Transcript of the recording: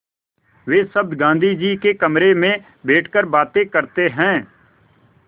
वे सब गाँधी जी के कमरे में बैठकर बातें करते हैं